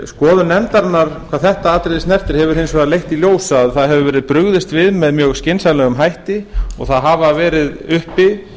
skoðun nefndarinnar hvað þetta atriði snertir hefur hins vegar leitt í ljós að það hefur verið brugðist við með mjög skynsamlegum hætti og það hafa verið uppi